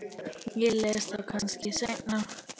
Ég les þá kannski seinna.